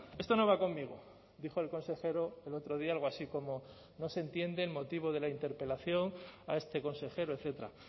esto no va conmigo dijo el consejero el otro día algo así como no se entiende el motivo de la interpelación a este consejero etcétera